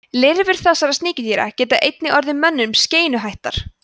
lirfur þessara sníkjudýra geta einnig orðið mönnum skeinuhættar